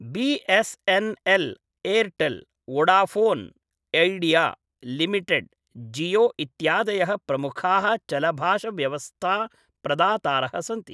BSNL., Airtel, Vodafone Idea limited, Jio इत्यादयः प्रमुखाः चलभाष व्यवस्था प्रदातारः सन्ति।